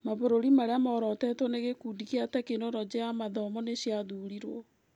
Mabũruri marĩa morotĩtwo nĩ gĩkundi kĩa Tekinoronjĩ ya mathomo nĩciathurirwo.